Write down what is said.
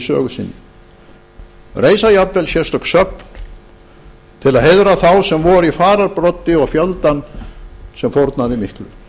sögu sinni reisa jafnvel sérstök söfn til að heiðra þá sem voru í fararbroddi og fjöldann sem fórnaði miklu